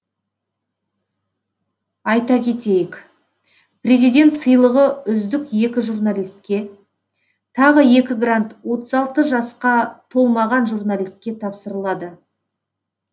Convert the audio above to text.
айта кетейік президент сыйлығы үздік екі журналистке тағы екі грант отыз алты жасқа толмаған журналистке тапсырылады